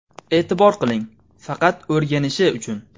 E’tibor qiling, faqat o‘rganishi uchun.